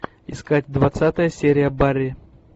искать двадцатая серия барри